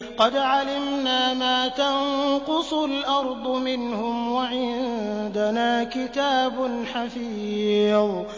قَدْ عَلِمْنَا مَا تَنقُصُ الْأَرْضُ مِنْهُمْ ۖ وَعِندَنَا كِتَابٌ حَفِيظٌ